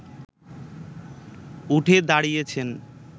উঠে দাঁড়িয়েছেন